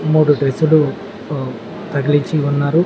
మూడు డ్రెస్సులు ఆ తగిలించి ఉన్నారు.